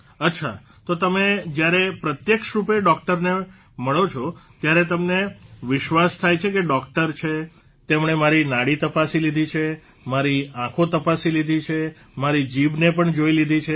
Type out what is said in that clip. અચ્છા તો તમે જ્યારે પ્રત્યક્ષરૂપે ડોકટરને મળો છો ત્યારે તમને વિશ્વાસ થાય છે કે ડોકટર છે તેમણે મારી નાડી તપાસી લીધી છે મારી આંખો તપાસી લીધી છે મારી જીભને પણ જોઇ લીધી છે